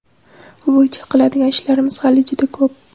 Bu bo‘yicha qiladigan ishlarimiz hali juda ko‘p.